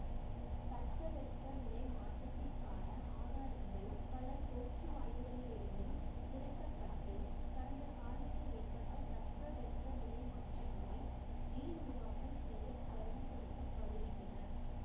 தட்ப வெப்ப நிலை மாற்றத்திற்கான ஆதாரங்கள் பல தோற்றுவாய்களிலிருந்தும் திரட்டப்பட்டு கடந்த காலத்தில் ஏற்பட்ட தட்பவெப்ப நிலை மாற்றங்களை மீள் உருவாக்கம் செய்ய பயன்படுத்த படுகின்றன